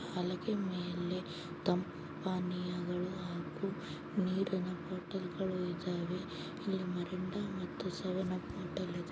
ಹಲಗೆ ಮೇಲೆ ತಂಪು ಪಾನೀಯಗಳು ಹಾಗು ನೀರಿನ ಬಾಟಲ್ಗಳು ಇದಾವೆ ಮೆರಿಂಡ ಸೆವೆನ್ಪ್ ಬಾಟಲ್ ಇದೆ .